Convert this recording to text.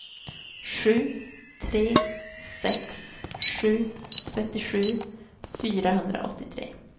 sju tre sex sju trettiosju fyrahundraåttiotre